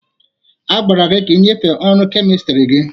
A gwara gị ka ị nyefee ọrụ kemistri gị!